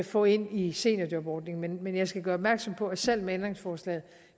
få ind i seniorjobordningen men men jeg skal gøre opmærksom på at selv med ændringsforslaget